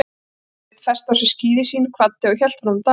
Sveinn festi á sig skíði sín, kvaddi og hélt fram dalinn.